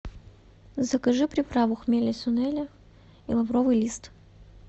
закажи приправу хмели сунели и лавровый лист